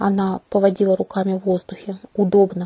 она поводила руками в воздухе удобно